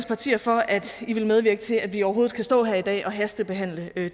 partier for at de vil medvirke til at vi overhovedet kan stå her i dag og hastebehandle det